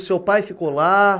O seu pai ficou lá?